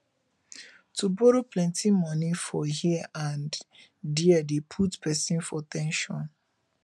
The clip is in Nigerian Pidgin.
to borrow plenty money for here and there de put persin for ten sion